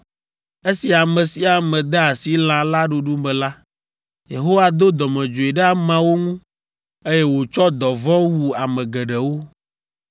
Esi ame sia ame de asi lã la ɖuɖu me la, Yehowa do dɔmedzoe ɖe ameawo ŋu, eye wòtsɔ dɔvɔ̃ wu ame geɖewo.